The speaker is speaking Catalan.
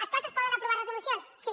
els claustres poden aprovar resolucions sí